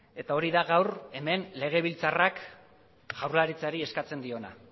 eta hori da gaur hemen legebiltzarrak jaurlaritzari eskatzen diona